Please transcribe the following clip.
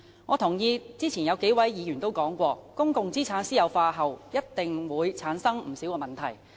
我認同剛才數位議員的說法，指出公共資產私有化後一定會產生不少問題。